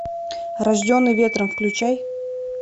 рожденный ветром включай